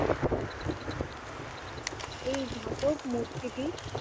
এই ধাতব মূর্তিটি।